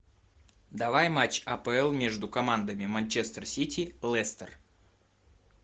давай матч апл между командами манчестер сити лестер